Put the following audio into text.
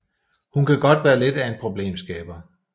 Hun kan godt være lidt af en problemskaber